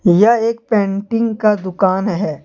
यह एक पेंटिंग का दुकान है।